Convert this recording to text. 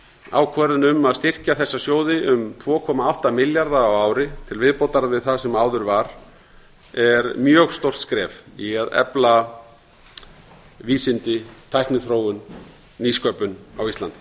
ákvörðun um að styrkja þessa sjóði um tvo komma átta milljarða á ári til viðbótar við það sem áður var er mjög stórt skref í að efla vísindi tækniþróun nýsköpun á íslandi